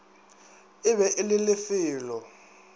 e be e le lefelo